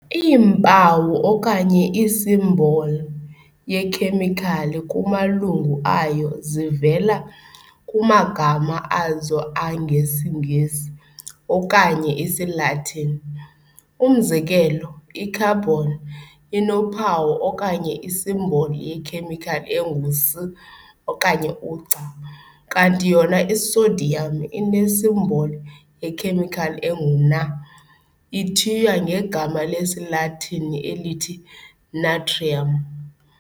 Iimpawu okanye isimboli yekhemikhali kumalungu ayo zivela kumagama azo angesiNgesi okanye isiLatini. Umzekelo, i-carbon inophawu okanye isimboli yekhemikhali engu'C', kanti yona i-sodium inesimboli yekhemikhali engu'Na', ithiywa ngegama lesiLatini elithi "natrium".